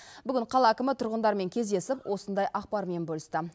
бүгін қала әкімі тұрғындармен кездесіп осындай ақпармен бөлісті